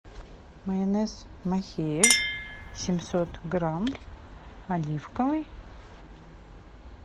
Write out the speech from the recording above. майонез махеев семьсот грамм оливковый